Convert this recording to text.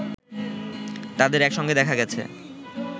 তাদের একসঙ্গে দেখা গেছে